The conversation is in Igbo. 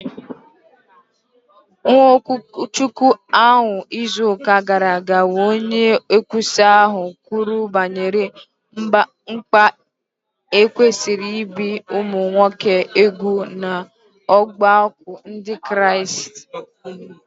N’okwuchukwu ahụ n’izu ụka gara aga, onye nkwusa ahụ kwuru banyere mkpa e kwesịrị ibi ụmụ nwoke úgwù n’ọgbakọ Ndị Kraịst.